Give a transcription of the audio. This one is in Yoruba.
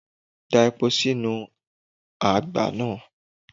Da epo sínú àgbá náà.